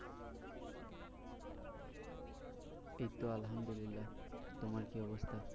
এইতো আলহামদুল্লিয়াহ তোমার কি অবস্থা?